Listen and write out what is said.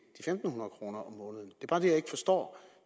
er ikke forstår